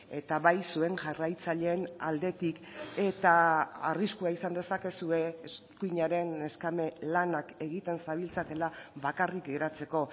eta bai zuen jarraitzaileen aldetik eta arriskua izan dezakezue eskuinaren neskame lanak egiten zabiltzatela bakarrik geratzeko